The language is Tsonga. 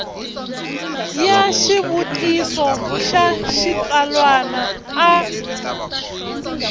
ya xivutiso xa xitsalwana a